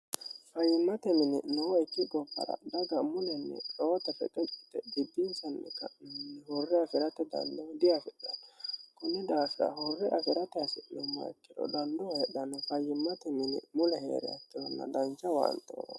Fayimatte mine nooeki gobbara dagga mulleni reehote reqecci yitte xibin'nisanni ka'nohuni hurre afiratte danido diafidhanno Kuni daafira hure agaratte hasinumoha ikkiro daniddo heedhanohu fayimatte mine mule heeriha ikirona danicha owannitte uyine